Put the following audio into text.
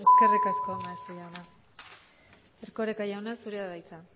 eskerrik asko maeztu jauna erkoreka jauna zurea da hitza